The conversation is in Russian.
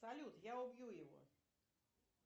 салют я убью его